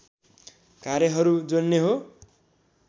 कार्यहरू जोड्ने हो